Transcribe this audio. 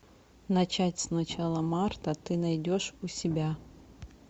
начать с начала марта ты найдешь у себя